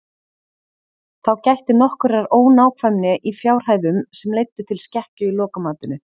Þá gætti nokkurrar ónákvæmni í fjárhæðum sem leiddu til skekkju í lokamatinu.